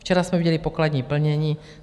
Včera jsme viděli pokladní plnění.